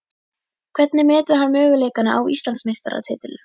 Hvernig metur hann möguleikana á Íslandsmeistaratitlinum?